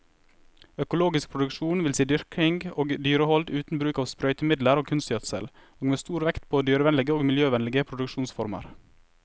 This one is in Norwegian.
Økologisk produksjon vil si dyrking og dyrehold uten bruk av sprøytemidler og kunstgjødsel, og med stor vekt på dyrevennlige og miljøvennlige produksjonsformer.